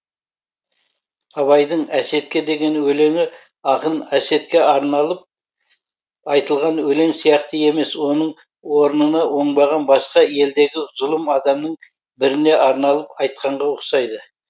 абайдың әсетке деген өлеңі ақын әсетке арналып айтылған өлең сияқты емес оның орнына оңбаған басқа елдегі зұлым адамның біріне арналып айтқанға ұқсайды